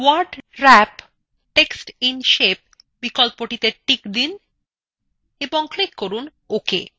word wrap text in shape বিকল্পটিতে check দিন এবং click করুন ok